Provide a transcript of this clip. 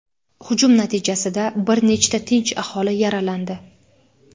hujum natijasida bir nechta tinch aholi yaralandi.